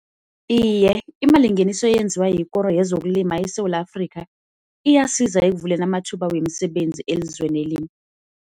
Iye, imalingeniso eyenziwa yikoro yezokulima eSewula Afrika iyasiza ekuvuleni amathuba wemisebenzi elizweni leli.